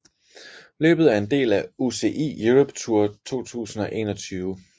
Løbet er en del af UCI Europe Tour 2021